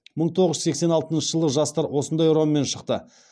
мың тоғыз жүз сексен алтыншы жылы жастар осындай ұранмен шықты